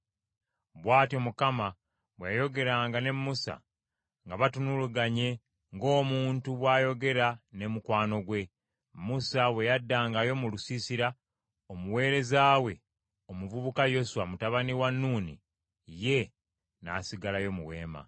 Bw’atyo Mukama bwe yayogeranga ne Musa nga batunulaganye, ng’omuntu bw’ayogera ne mukwano gwe. Musa bwe yaddangayo mu lusiisira, omuweereza we, omuvubuka Yoswa mutabani wa Nuuni, ye n’asigalayo mu Weema.